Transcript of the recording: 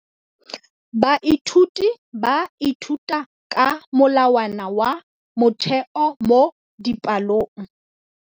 Baithuti ba ithuta ka molawana wa motheo mo dipalong.